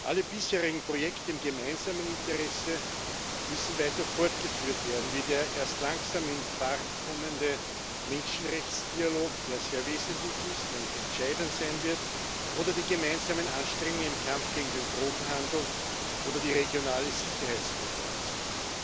Alle bisherigen Projekte im gemeinsamen Interesse müssen weiter fortgeführt werden, wie der erst langsam in Fahrt kommende Menschenrechtsdialog, der sehr wesentlich ist und entscheidend sein wird, oder die gemeinsamen Anstrengungen im Kampf gegen den Drogenhandel oder die regionale Sicherheitskooperation.